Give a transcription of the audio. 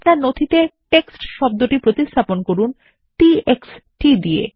আপনার নথিতে টেক্সট শব্দটি প্রতিস্থাপন করুন t x t দিয়ে